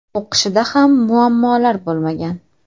O‘qishida ham muammolar bo‘lmagan.